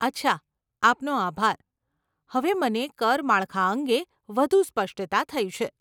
અચ્છા, આપનો આભાર, હવે મને કર માળખા અંગે વધુ સ્પષ્ટતા થઇ છે.